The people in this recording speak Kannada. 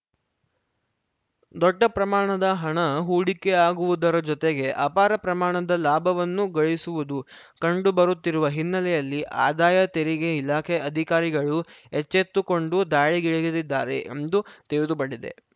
ದೊಡ್ಡ ಪ್ರಮಾಣದ ಹಣ ಹೂಡಿಕೆಯಾಗುವುದರ ಜೊತೆಗೆ ಅಪಾರ ಪ್ರಮಾಣದ ಲಾಭವನ್ನೂ ಗಳಿಸುವುದು ಕಂಡು ಬರುತ್ತಿರುವ ಹಿನ್ನೆಲೆಯಲ್ಲಿ ಆದಾಯ ತೆರಿಗೆ ಇಲಾಖೆ ಅಧಿಕಾರಿಗಳು ಎಚ್ಚೆತ್ತುಕೊಂಡು ದಾಳಿಗಿಳಿಗಿದ್ದಾರೆ ಎಂದು ತಿಳಿದು ಬಂಡಿದೆ